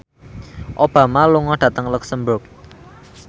Obama lunga dhateng luxemburg